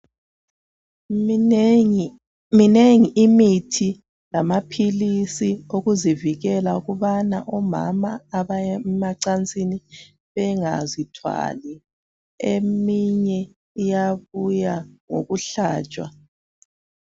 Minengi imithi lamaphilisi okuzivikela. Ukuthi omama abaya emacansini, bangazithwali. Eminye iyabuya ngokuhlatshwa.